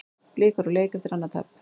Blikar úr leik eftir annað tap